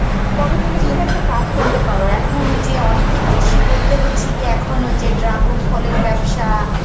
তবে তুমি কিন্তু একটা কাজ করতে পারো এখন ওই যে অনেক কৃষি বলতে হচ্ছে গিয়ে যে এখন হচ্ছে ওই dragon ফলের ব্যবসা